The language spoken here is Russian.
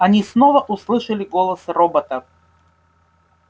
они снова услышали голос робота